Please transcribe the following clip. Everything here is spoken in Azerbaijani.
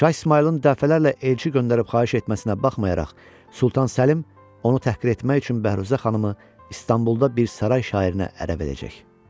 Şah İsmayılın dəfələrlə elçi göndərib xahiş etməsinə baxmayaraq, Sultan Səlim onu təhqir etmək üçün Bəhruzə xanımı İstanbulda bir saray şairinə ərə verəcək.